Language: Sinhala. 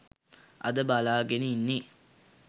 අද බලාගෙන ඉන්නේ